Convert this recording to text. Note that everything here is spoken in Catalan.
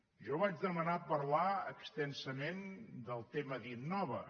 jo vaig demanar parlar extensament del tema d’innova